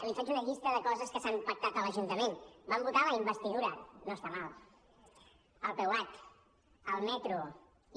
li faig una llista de coses que s’han pactat a l’ajuntament vam votar la investidura no està malament el peuat el metro i